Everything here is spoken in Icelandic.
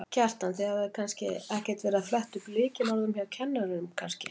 Kjartan: Þið hafið ekkert verið að fletta upp lykilorðum hjá kennurum kannski?